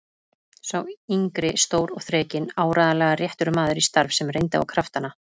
Sá yngri stór og þrekinn, áreiðanlega réttur maður í starf sem reyndi á kraftana.